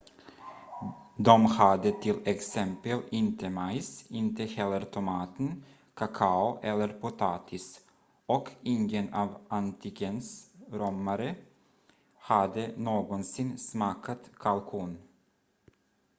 de hade till exempel inte majs inte heller tomater kakao eller potatis och ingen av antikens romare hade någonsin smakat kalkon